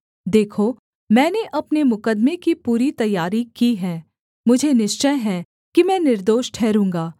देखो मैंने अपने मुकद्दमे की पूरी तैयारी की है मुझे निश्चय है कि मैं निर्दोष ठहरूँगा